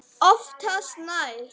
Oftast nær